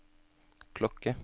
klokke